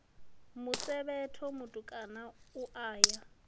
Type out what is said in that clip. musevhetho mutukana u a ya